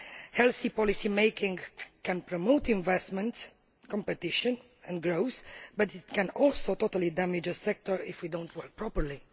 healthy policy making can promote investment, competition and growth, but it can also severely damage the sector if we do not work properly.